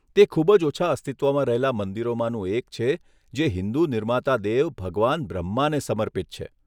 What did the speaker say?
તે ખૂબ જ ઓછા અસ્તિત્વમાં રહેલા મંદિરોમાંનું એક છે જે હિન્દુ નિર્માતા દેવ ભગવાન બ્રહ્માને સમર્પિત છે.